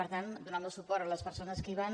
per tant donar el meu suport a les persones que hi van